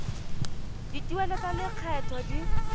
dituelo tsa lekgetho tse di